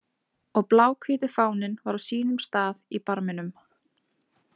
Og bláhvíti fáninn var á sínum stað í barminum.